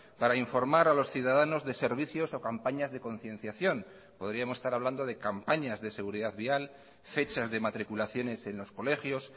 para informar a los ciudadanos de servicios o campañas de concienciación podríamos estar hablando de campañas de seguridad vial fechas de matriculaciones en los colegios